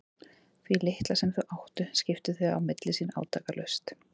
Því litla sem þau áttu skiptu þau á milli sín átakalaust.